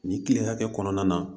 Nin kile hakɛ kɔnɔna na